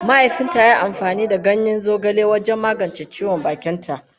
Mahaifinta ya yi amfani da ganyen zogale wajen magance ciwon bakinta.